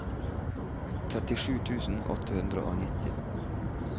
trettisju tusen åtte hundre og nitti